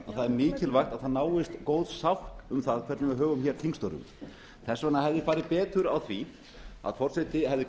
er mikilvægt að góð sátt náist um það hvernig við högum þingstörfum þess vegna hefði farið betur á því að forseti hefði